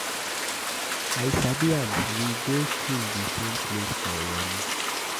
I sabi am. We go school the same place for Warri.